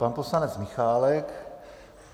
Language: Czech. Pan poslanec Michálek.